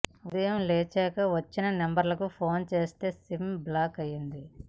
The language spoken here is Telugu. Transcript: ఉదయం లేచాక వచ్చిన నంబర్లకు ఫోన్ చేస్తే సిమ్ బ్లాక్ అయింది